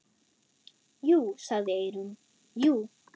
Jú, sagði Eyrún, jú.